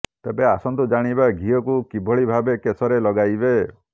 ତେବେ ଆସନ୍ତୁ ଜାଣିବା ଘିଅକୁ କିଭଳି ଭାବେ କେଶରେ ଲଗାଇବେ